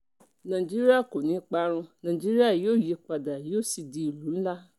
nàìjíríà kò ní í parun nàìjíríà yóò yípadà yóò sì di ìlú ńlá